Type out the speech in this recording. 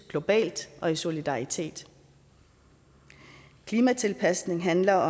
globalt og i solidaritet klimatilpasning handler